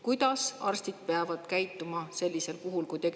Kuidas arstid peavad käituma sellisel puhul?